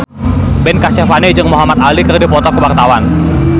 Ben Kasyafani jeung Muhamad Ali keur dipoto ku wartawan